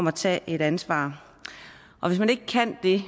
at tage ansvar og hvis man ikke kan det